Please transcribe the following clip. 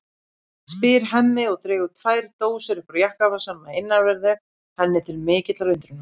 spyr Hemmi og dregur tvær dósir upp úr jakkavasanum að innanverðu henni til mikillar undrunar.